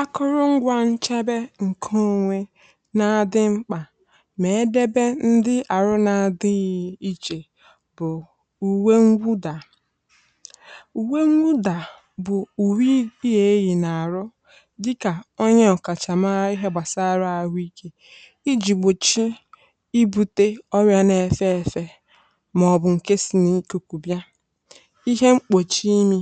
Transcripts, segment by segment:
Akụrụngwa nchebe nke onwe na-adị mkpa. Mee ka edebe ndị arụ na-adịghị iche bụ uwe ngwụda. Uwe ngwụda bụ uwe ị yà eghi na arụ, dị ka onye ọkachamara n’ihe gbasara arụ ike, iji gbochie ibute ọrịa na efe efe um?, maọbụ nke si n’iké kubia. Ihe mkpuchi imi,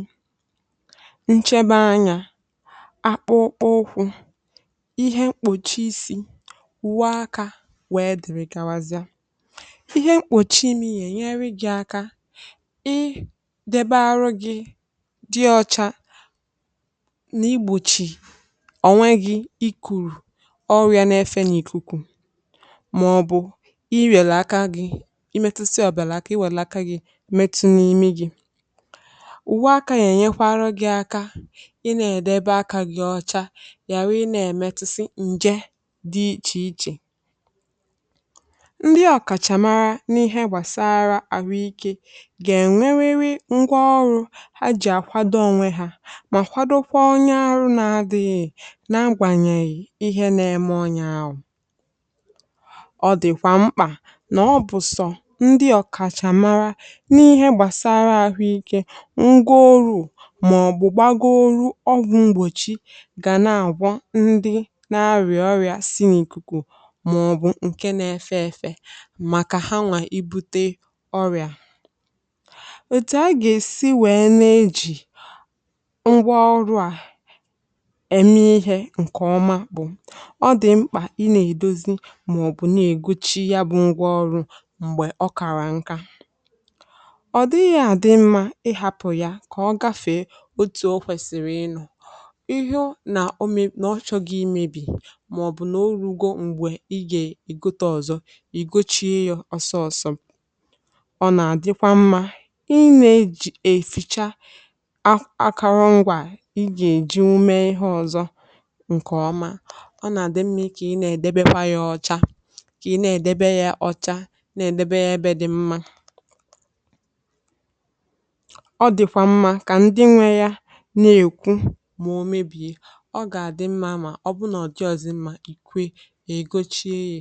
akpụkpọ ọkụkụ, ihe mkpuchi isi, wụ aka, wee dịrị; gawazịa ihe mkpuchi imi – ya enyere gị aka idebe arụ gị dị ọcha na igbochi ọnwụ gị. I kuru ọrụ ya n’efe na ikuku, maọbụ i rie aka gị, imetụsi ọbịa aka, i wele aka gị, imetụ n’ime gị. Ị na-edebe aka gị ọcha, ya na ị na-emetụsi nje dị iche iche. Ndị ọkachamara n’ihe gbasara ahụ ike ga enwerịrị ngwa ọrụ ha ji akwado onwe ha, ma kwadokwa onye arụ, na adịghị na-agbanyeghi ihe na-eme. Ọnya agwụ, ọ dịkwa mkpa na ọ bụghị naanị ndị ọkachamara n’ihe gbasara ahụ ike ka ngwa ọrụ ga na-agwọ ndị na-arịa ọrịa si n’ ikuku, maọbụ nke na-efe efe, maka ha nwa ibute ọrịa. Otu a ka esi were na eji ngwa ọrụ a eme ihe ọma. Ngwaọrụ ahụ bụ ọdị mkpa: ị na edozi maọbụ na e gwụchighị ya. Ngwaọrụ mgbe ọkara nka, ọ dịghị adị mma. Ị hapụ ya ka ọ gafee, ịhụ na omen na ọ chọghị imebi, ma ọ bụ na ọ rugo mgbe, ị ga-e igote ọzọ. I gochie ya osọọsọ, ọ na-adịkwa mma. Ị na-eji eficha akọrọ ngwa ị ga-eji ume, ihe ọzọ nke ọma. Ọ na-adị mma ka ị na-edebe kwa ya ọcha, ka ị na-edebe ya ọcha, na-edebe ya ebe dị mma. Ọ dịkwa mma ka ndị nwe ya, ọ ga-adị mma. Ma ọ bụrụ na ọ dị ọzọ, mma ikwe igochie ya.